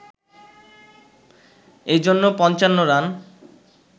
এজন্য ৫৫ রান